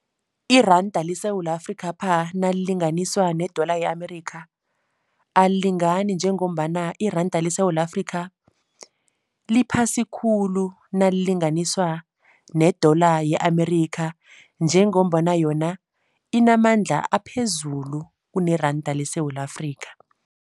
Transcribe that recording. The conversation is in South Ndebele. Iranda leSewula Afrikapha nalilinganiswa ne-dollar ye-Amerika alilingani njengombana iranda leSewula Afrika liphasi khulu nalilinganiswa ne-dollar ye-Amerika njengombana yona inamandla aphezulu kuneranda leSewula Afrika.